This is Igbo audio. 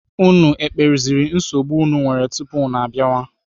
Unu ekpeziri nsogbu unu nwere tupu unu abịawa?